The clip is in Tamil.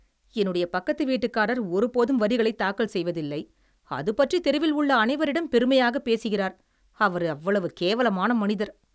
என்னுடைய பக்கத்து வீட்டுக்காரர் ஒருபோதும் வரிகளை தாக்கல் செய்வதில்லை. அதுபற்றித் தெருவில் உள்ள அனைவரிடம் பெருமையாக பேசுகிறார். அவர் அவ்வளவு கேவலமான மனிதர்.